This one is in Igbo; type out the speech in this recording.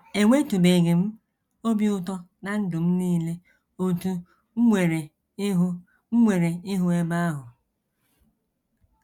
Enwetụbeghị m obi ụtọ ná ndụ m nile otú m nwere ịhụ m nwere ịhụ ebe ahụ.